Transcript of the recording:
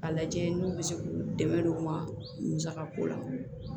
A lajɛ n'u bɛ se k'u dɛmɛ u ma musaka ko la